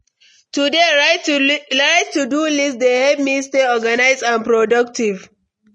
To dey write to-do list dey help me stay organized and productive.